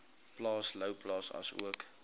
plaas louwplaas asook